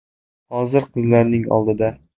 Hozir qizlarining oldida.